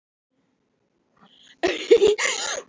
Af hverju þóttist þú þá þekkja mig?